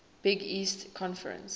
big east conference